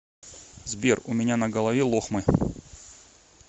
сбер у меня на голове лохмы